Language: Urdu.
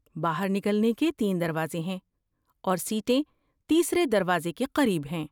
باہر نکلنے کے تین دروازے ہیں، اور سیٹیں تیسرے دروازے کے قریب ہیں۔